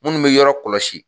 Minnu bɛ yɔrɔ kɔlɔsi